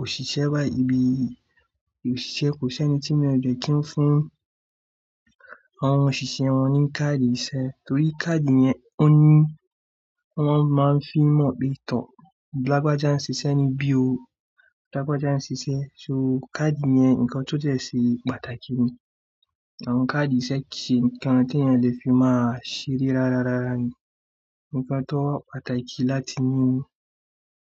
òṣìṣẹ́ bá, ibi òṣìṣẹ́ kò sí ẹni tí mí o jẹ́ kí ó fún àwọn òṣìṣẹ́ wọn ní káàdì iṣẹ́ torí káàdì yẹn ó ní, wọ́n máa ń fi mọ̀ pé tàn lágbájá ń ṣiṣẹ́ níbí o, lágbájá ń ṣiṣẹ́. So káàdì yẹn ǹkan tó jẹ́ ṣe pàtàkì ni. Àwọn káàdì iṣẹ́ kì í ṣe ǹkan tí ẹ̀yàn lè fi máa ṣeré rárá rárá ni, ǹkan tó wà pàtàkì láti ní ni.